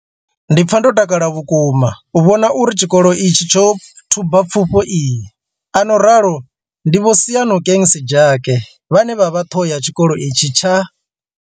Ndi pfa ndo takala vhukuma u vhona uri tshikolo itshi tsho thuba pfufho iyi, a no ralo ndi Vho Seyanokeng Sejake vhane vha vha ṱhoho ya tshikolo itshi tsha.